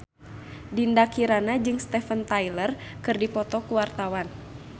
Dinda Kirana jeung Steven Tyler keur dipoto ku wartawan